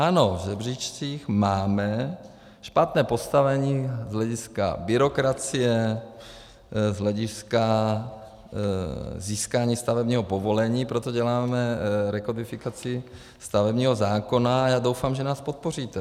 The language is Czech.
Ano, v žebříčcích máme špatné postavení z hlediska byrokracie, z hlediska získání stavebního povolení, proto děláme rekodifikaci stavebního zákona a já doufám, že nás podpoříte.